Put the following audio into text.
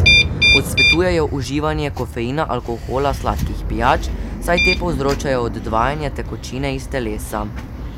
Odsvetujejo uživanje kofeina, alkohola, sladkih pijač, saj te povzročajo odvajanje tekočine iz telesa.